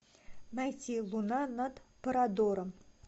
найти луна над парадором